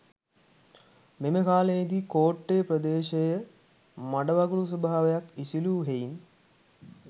මෙම කාලයේදී කෝට්ටේ ප්‍රදේශය මඩවගුරු ස්වාභාවයක් ඉසිලූ හෙයින්